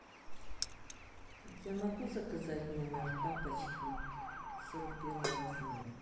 я могу заказать в номер тапочки сорок первого размера